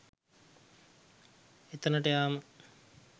එතැනට යාම